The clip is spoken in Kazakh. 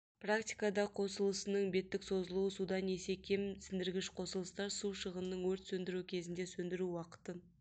практикада қосылысының беттік созылуы судан есе кем сіңдіргіш қосылыстар су шығының өрт сөндіру кезінде сөндіру уақытын